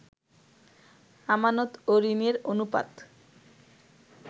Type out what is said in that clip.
আমানত ও ঋণের অনুপাত